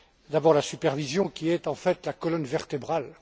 D'abord la supervision qui est, en fait, la colonne vertébrale.